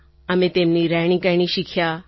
અમે તેમની રહેણી કરણી શીખ્યાં